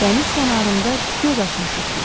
Dəniz kənarında göz açmışıq biz.